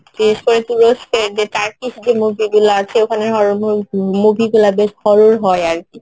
বিশেষ করে তুরস্কের যে Turkish যে movie গুলো আছে ওখানে horror movie গুলো বেশ horror হয় আরকি